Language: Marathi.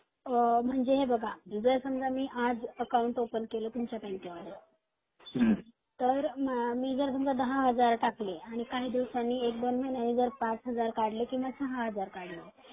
म्हजे हे बगा मी जर मी समजा आज अकाऊंटओपेन केल तुमच्या बँकेमध्ये तर मी जर दहा हजार रुपये टाकले काही दिवसांनी एक , दोन महिन्यांनी पाच हजार काढले